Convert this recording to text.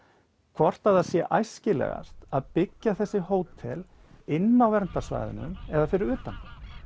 hvort að það sé æskilegast að byggja þessi hótel inni á verndarsvæðinu eða fyrir utan